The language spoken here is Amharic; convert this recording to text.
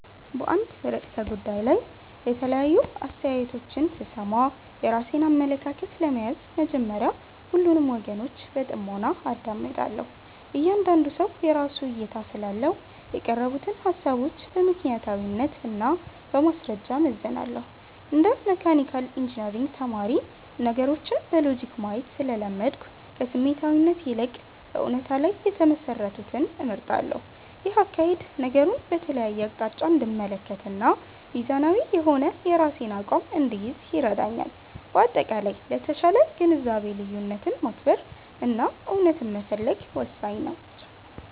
በአንድ ርዕሰ ጉዳይ ላይ የተለያዩ አስተያየቶች ስሰማ፣ የራሴን አመለካከት ለመያዝ መጀመሪያ ሁሉንም ወገኖች በጥሞና አዳምጣለሁ። እያንዳንዱ ሰው የራሱ እይታ ስላለው፣ የቀረቡትን ሃሳቦች በምክንያታዊነት እና በማስረጃ እመዝናለሁ። እንደ መካኒካል ኢንጂነሪንግ ተማሪ፣ ነገሮችን በሎጂክ ማየት ስለለመድኩ፣ ከስሜታዊነት ይልቅ በእውነታ ላይ የተመሰረቱትን እመርጣለሁ። ይህ አካሄድ ነገሩን በተለያየ አቅጣጫ እንድመለከትና ሚዛናዊ የሆነ የራሴን አቋም እንድይዝ ይረዳኛል። በአጠቃላይ፣ ለተሻለ ግንዛቤ ልዩነትን ማክበር እና እውነታን መፈለግ ወሳኝ ናቸው።